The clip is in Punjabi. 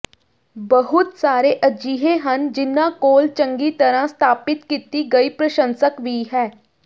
ਬਹੁਤ ਸਾਰੇ ਅਜਿਹੇ ਹਨ ਜਿਨ੍ਹਾਂ ਕੋਲ ਚੰਗੀ ਤਰ੍ਹਾਂ ਸਥਾਪਿਤ ਕੀਤੀ ਗਈ ਪ੍ਰਸ਼ੰਸਕ ਵੀ ਹੈ